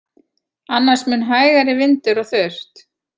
Annars mun hægari vindur og þurrt